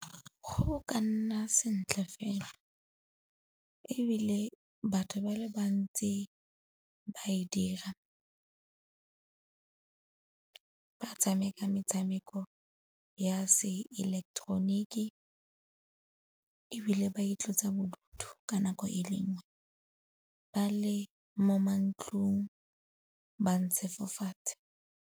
Go ka nna sentle fela ebile batho ba le bantsi ba e dira, ba tshameka metshameko ya se ileketeroniki ebile ba itlotsa bodutu ka nako e le nngwe ba le mo mantlong ba ntshe fo fatshe.